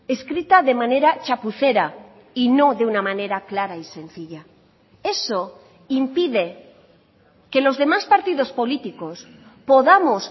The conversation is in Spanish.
escrita de manera chapucera y no de una manera clara y sencilla eso impide que los demás partidos políticos podamos